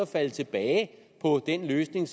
falde tilbage på den løsning